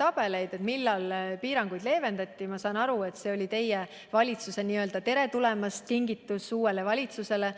tabeleid ja seda, millal piiranguid leevendati, siis ma saan aru, et see oli teie valitsuse n-ö tere-tulemast-kingitus uuele valitsusele.